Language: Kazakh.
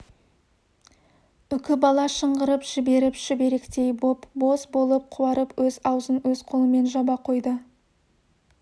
үкібала шыңғырып жіберіп шүберектей боп-боз болып қуарып өз аузын өз қолымен жаба қойды